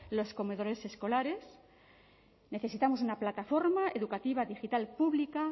los comedores escolares necesitamos una plataforma educativa digital pública